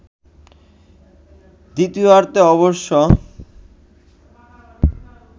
দ্বিতীয়ার্ধে অবশ্য